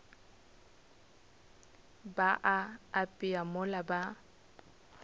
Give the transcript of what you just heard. ba a apea mola ba